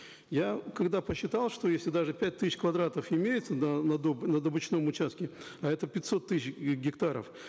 я когда посчитал что если даже пять тысяч квадратов имеется да на на добычном участке а это пятьсот тысяч гектаров